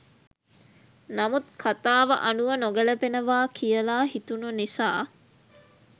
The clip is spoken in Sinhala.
නමුත් කථාව අනුව නොගැළපෙනවා කියලා හිතුණ නිසා